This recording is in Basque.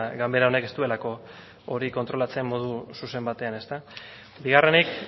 ganbera honek ez duelako hori kontrolatzen modu zuzen batean bigarrenik